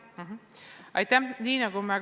Aitäh!